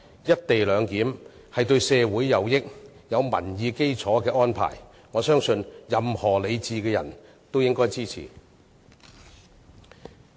"一地兩檢"是對社會有裨益並具民意基礎的安排，我相信任何理智的人也應支持。